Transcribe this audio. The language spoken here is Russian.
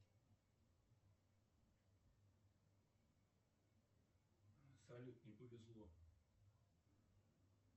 салют не повезло